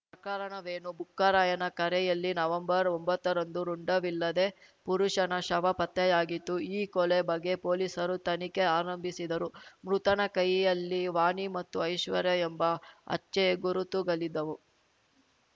ಪ್ರಕರಣವೇನು ಬುಕ್ಕರಾಯನ ಕರೆಯಲ್ಲಿ ನವಂಬರ್ಒಂಬತ್ತರಂದು ರುಂಡವಿಲ್ಲದೆ ಪುರುಷನ ಶವ ಪತ್ತೆಯಾಗಿತ್ತು ಈ ಕೊಲೆ ಬಗ್ಗೆ ಪೊಲೀಸರು ತನಿಖೆ ಆರಂಭಿಸಿದರು ಮೃತನ ಕೈಯಲ್ಲಿ ವಾಣಿ ಮತ್ತು ಐಶ್ವರ್ಯ ಎಂಬ ಹಚ್ಚೆ ಗುರುತುಗಳಿದ್ದವು